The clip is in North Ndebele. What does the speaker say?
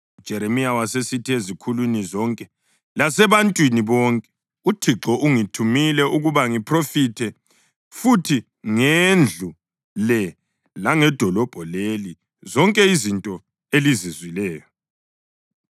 UJeremiya wasesithi ezikhulwini zonke lasebantwini bonke: “ UThixo ungithumile ukuba ngiphrofethe kubi ngendlu le langedolobho leli zonke izinto elizizwileyo.